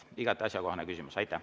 Igati asjakohane küsimus.